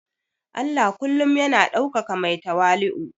Allah kullum yana ɗaukaka mai tawali'u